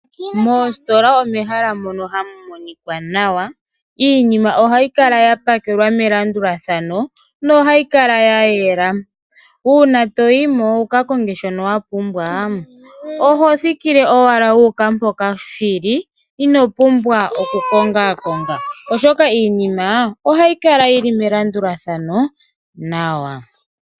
Moositola omehala mono hamu monika nawa iinima ohayi kala ya pakelwa melandulathano no hayi kala ya yela . Uuna toyimo wuka konge shono wa pumbwa oho thikile owala mpoka shili ino pumbwa oku konga konga ,oshoka iinima ohayi kala melandulathano nawa